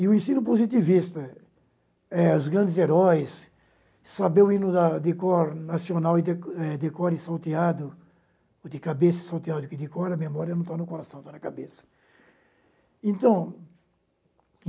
E o ensino positivista, eh os grandes heróis, saber o hino da de decor nacional, eh decor e salteado, o de cabeça e salteado, que o decor a memória não está no coração, está na cabeça. Então